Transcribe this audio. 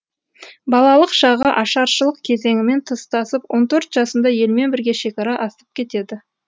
балалық шағы ашаршылық кезеңімен тұстасып он төрт жасында елмен бірге шекара асып кетеді